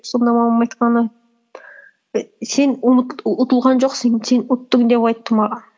сонда мамамның айтқаны і сен ұтылған жоқсың сен ұттың деп айтты маған